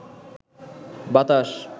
বাতাস